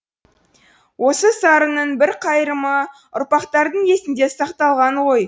осы сарынның бір қайырымы ұрпақтардың есінде сақталған ғой